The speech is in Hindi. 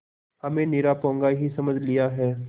हमें निरा पोंगा ही समझ लिया है